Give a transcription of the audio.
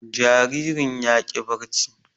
Jaririn ya ƙi barci